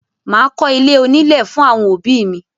Máa kọ́ ilé onílè fún àwọn òbí mi.